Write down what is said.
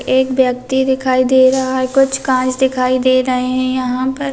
एक व्यक्ति दिखाई दे रहा है कुछ कांच दिखाई दे रहे हैं यहाँ पर।